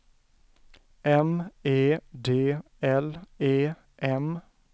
M E D L E M